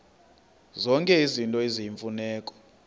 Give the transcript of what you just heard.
zonke izinto eziyimfuneko